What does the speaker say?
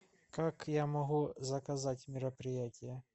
как я могу заказать мероприятие